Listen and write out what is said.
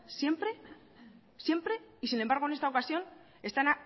siempre siempre y sin embargo en esta ocasión están